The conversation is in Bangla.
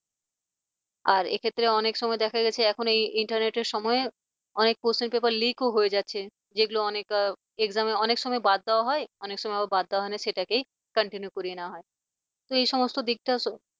আর এক্ষেত্রে অনেক সময় দেখা গেছে যে এখন এই internet সময়ে অনেক question paper leak ও হয়ে যাচ্ছে যেগুলো অনেক exam অনেক সময় বাদ দেওয়া হয় অনেক সময় আমার বাদ দেওয়া হয় না সেটাকেই continue করিয়ে নেওয়া হয়। তো এই সমস্ত দিকটা